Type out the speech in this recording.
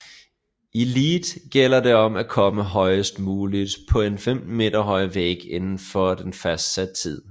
I lead gælder det om at komme højest muligt på en 15 meter høj væg indenfor en fastsat tid